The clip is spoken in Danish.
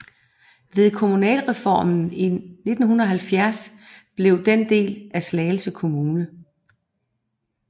Ved kommunalreformen i 1970 blev den en del af Slagelse kommune